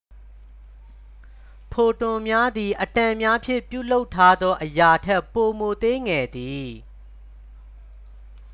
ဖိုတွန်များသည် အက်တမ်များဖြင့် ပြုလုပ်ထားသော အရာထက် ပိုမိုသေးငယ်သည်